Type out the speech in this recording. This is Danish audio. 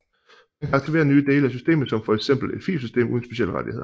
Man kan aktivere nye dele af systemet som for eksempel et filsystem uden specielle rettigheder